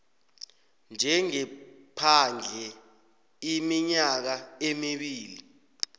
njengephandle iminyaka emibili